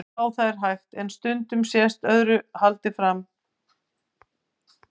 Já, það er hægt, en stundum sést öðru haldið fram.